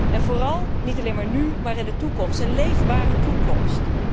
En vooral, niet alleen maar nu, maar in de toekomst, een leefbare toekomst.